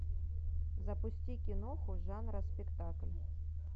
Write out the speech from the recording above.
запусти киноху жанра спектакль